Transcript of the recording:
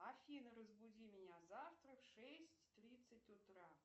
афина разбуди меня завтра в шесть тридцать утра